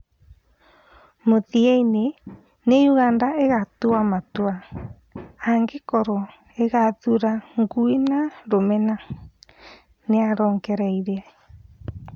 "Mũthiyainĩ nĩ Ũganda ĩgatua matua, angĩkorwo ĩgathura ngũĩ na rũmena", nĩarongereire.